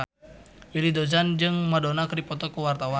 Willy Dozan jeung Madonna keur dipoto ku wartawan